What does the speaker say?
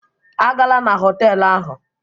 A gala na họtelụ ahụ!